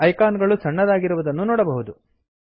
icon ಗಳು ಸಣ್ಣದಾಗಿರುವುದನ್ನು ನೋಡಬಹುದು